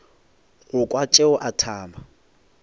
go kwa tšeo a thaba